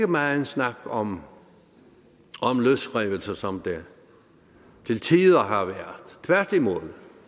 megen snak om løsrivelse som der til tider har været tværtimod